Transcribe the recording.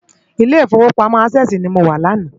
Ilé Ifówópámò Ásèsi ni mó wá làná